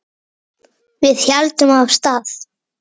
Við héldum af stað.